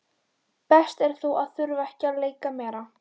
Best er þó að þurfa ekki að leika meira.